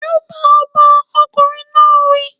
Júbà ọba! Ọkùnrin náà wí.